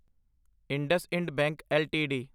IndusInd bank LTD